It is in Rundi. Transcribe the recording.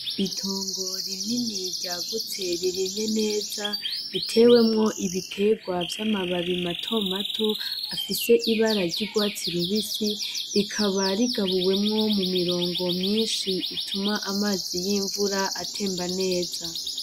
Itongo rinini ryagutse ririmye neza ritewemwo ibiterwa vy'amababi mato mato afise ibara ry'urwatsi rubisi rikaba rigabuwemwo mu mirongo myinshi ituma amazi y'imvura atemba neza.